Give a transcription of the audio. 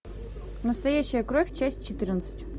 настоящая кровь часть четырнадцать